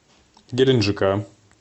геленджика